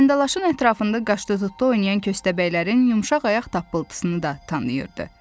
Gəndəlaşın ətrafında qaşınan köstəbəylərin yumşaq ayaq tapıltısını da tanıyırdı.